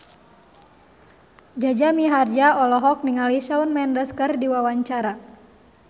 Jaja Mihardja olohok ningali Shawn Mendes keur diwawancara